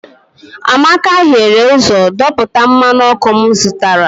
amaka hiere ụzọ dọpụta mmanụ ọkụ m zụtara